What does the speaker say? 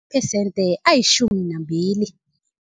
phesente ayitjhumi nambili.